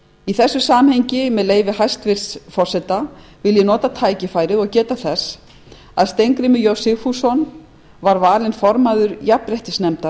í þessu samhengi með leyfi hæstvirts forseta vil ég nota tækifærið og geta þess að steingrímur j sigfússon var valinn formaður jafnréttisnefndar